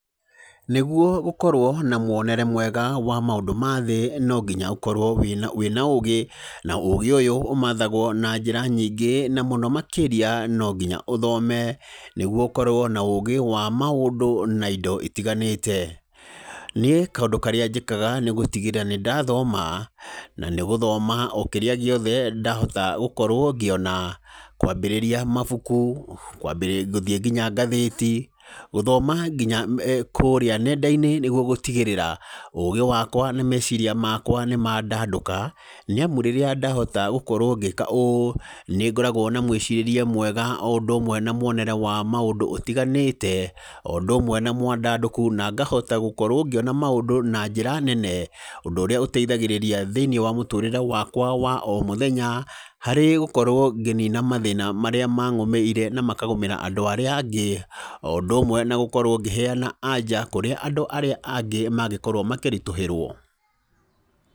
Nĩguo gũkorwo na mwonere mwega wa maũndũ mathĩ, nonginya ũkorwo wĩ wĩna ũgĩ, na ũgĩ ũyũ ũmathagwo na njĩra nyingĩ, na mũno makĩria no nginya ũthome, nĩguo ũkorwo na ũgĩ wa maũndũ na indo itiganĩte, niĩ kaũndũ karĩa njĩkaga nĩ gũtigarĩra nĩ ndathoma, na nĩ gũthoma ũkĩrĩa gĩothe ndathota gũkorwo ngĩona, kwambĩrĩrĩa mabuku, kwambĩ gũthiĩ ngina ngathĩti, gũthoma nginya kũrĩa nenda-inĩ nĩguo gũtigĩrĩra ũgĩ wakwa na meciria makwa nĩ mandandũka, nĩ amu rĩrĩa ndahota gũkorwo ngĩka ũũ, nĩ ngoragwo na mwĩcirĩrie mwega, o ũndũ ũmwe na mwonere wa maũndũ ũtiganĩte, o ũndũ ũmwe na mwandandũku na ngahota gũkorwo ngĩona maũndũ na njĩra nene, ũndũ ũrĩa ũteithagĩrĩria thĩinĩ wa mũtũrĩre wakwa wa o mũthenya, harĩ gũkorwo ngĩnina mathĩna marĩa mangũmĩire, na makagũmĩra andũ arĩa angĩ, o ũndũ ũmwe na gũkorwo ngĩheana anja kũrĩa andũ arĩa angĩ mangĩkorwo makĩritũhĩrwo.